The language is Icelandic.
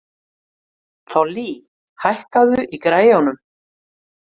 Þollý, hækkaðu í græjunum.